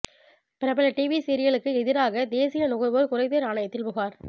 பிரபல டிவி சீரியலுக்கு எதிராக தேசிய நுகர்வோர் குறைதீர் ஆணையத்தில் புகார்